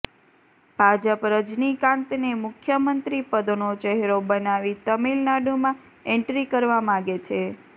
ભાજપ રજનીકાંતને મુખ્યમંત્રી પદનો ચહેરો બનાવી તમિલનાડુમાં એન્ટ્રી કરવા માગે છે